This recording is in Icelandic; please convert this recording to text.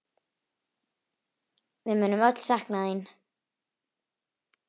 Við munum öll sakna þín.